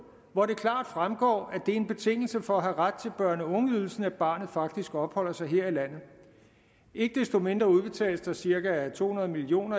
hvor det klart fremgår at det er en betingelse for at have ret til børne og ungeydelsen at barnet faktisk opholder sig her i landet ikke desto mindre udbetales der cirka to hundrede million